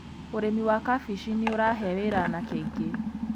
Ũrĩmi wa kabici nĩ ũrahe wĩra anake aingĩ.